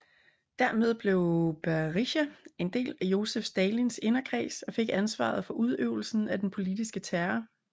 Dermed blev Berija en del af Josef Stalins inderkreds og fik ansvaret for udøvelsen af den politiske terror